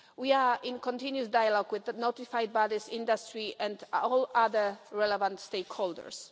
We are in continuous dialogue with the notified bodies, industry and all other relevant stakeholders.